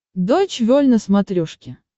дойч вель на смотрешке